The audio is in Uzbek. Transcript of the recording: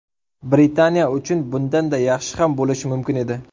Britaniya uchun bundanda yaxshi ham bo‘lishi mumkin edi.